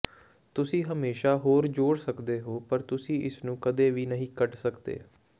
ਤੁਸੀਂ ਹਮੇਸ਼ਾਂ ਹੋਰ ਜੋੜ ਸਕਦੇ ਹੋ ਪਰ ਤੁਸੀਂ ਇਸ ਨੂੰ ਕਦੇ ਵੀ ਨਹੀਂ ਕੱਢ ਸਕਦੇ